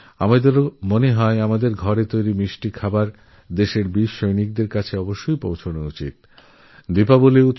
আমরাও মনে করি যে আমাদের ঘরের মিষ্টি দেশের জওয়ানদেরকাছে পৌঁছনো দরকার